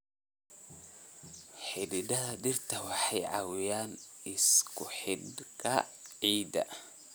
Xididdada dhirta waxay caawiyaan isku-xidhka ciidda.